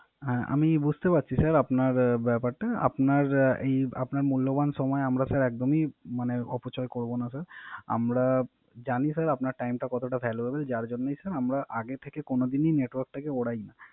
হ্যা আমি বুঝতে পারছি স্যার আপনার ব্যাপারটা। আপনার মূল্যবান সময় আমরা স্যার একদমই অপচয় করবো না স্যার আমরা জানি স্যার আপনার Time টা কতটা Valuable যার জন্যই স্যার আমরা আগে থেকে কোন দিনই Network টা কে না